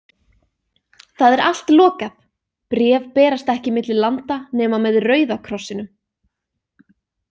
Það er allt lokað, bréf berast ekki milli landa nema með Rauða krossinum.